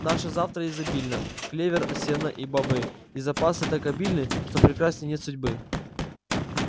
наше завтра изобильно клевер сено и бобы и запасы так обильны что прекрасней нет судьбы